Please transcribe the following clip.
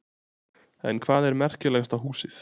En hvað er merkilegasta húsið?